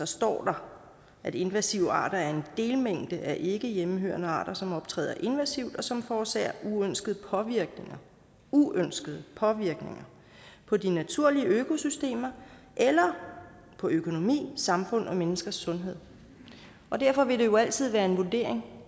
står der at invasive arter er en delmængde af ikke hjemmehørende arter som optræder invasivt og som forårsager uønskede påvirkninger uønskede påvirkninger på de naturlige økosystemer eller på økonomi samfund og menneskers sundhed derfor vil det jo altid være en vurdering